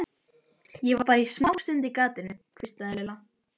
Ég var bara smástund á gatinu. hvíslaði Lilla.